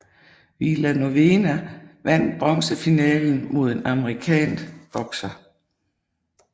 Villanueva vandt bronzefinalen mod en amerikansk bokser